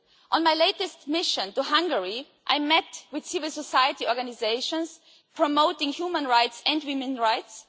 On my latest mission to Hungary, I met with civil society organisations promoting human rights and women's rights.